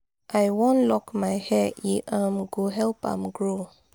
i wan lock my hair e um go help am grow.